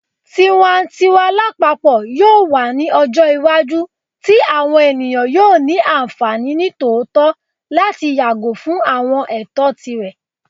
Tiwantiwa lapapọ yoo wa ni ọjọ iwaju ti awọn eniyan yoo ni anfani nitootọ lati yago fun awọn ẹtọ tirẹ